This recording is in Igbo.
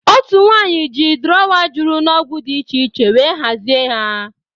Otu nwanyị ji drọwa juru n'ọgwụ dị iche iche wee hazie ya